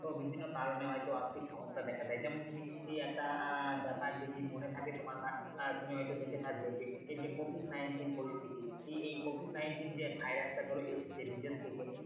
বিভিন্ন কারণে হয়তো আর্থিক সমস্যা দেখা দেয় যেমন একটা আহ ব্যাপার যদি মনে থাকে তোমার বা আহ তুমি হয়তো দেখে থাকবে যে এই যে covid nineteen হলো যে এই covid nineteen যে ভাইরাস টা ধরো এসেছে বিদেশ থেকে